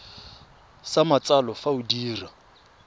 sa matsalo fa o dira